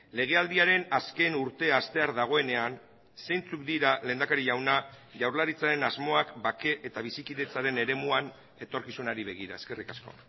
legealdiaren azken urtea hastear dagoenean zeintzuk dira lehendakari jauna jaurlaritzaren asmoak bake eta bizikidetzaren eremuan etorkizunari begira eskerrik asko